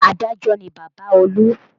Adájọ́ ni Bàbá olú